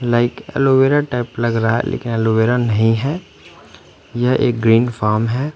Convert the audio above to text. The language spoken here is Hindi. लाइक एलोवीरा टाइप लग रहा है लेकिन एलोवीरा नहीं है ये एक ग्रीन फॉर्म है।